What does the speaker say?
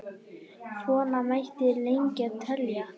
Svona mætti lengi telja.